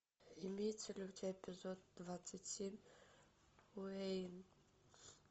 имеется ли у тебя эпизод двадцать семь уэйн